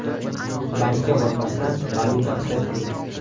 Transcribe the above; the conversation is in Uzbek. Bankka bormasdan valyuta xarid qiling!.